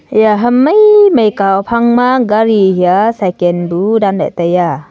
iya ham maimai ka uphang ma gari hia cycan bu dan la taiya.